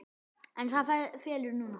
En það felur hana.